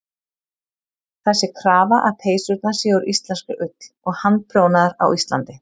Það sé krafa að peysurnar séu úr íslenskri ull og handprjónaðar á Íslandi.